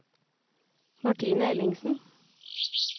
Martine Ellingsen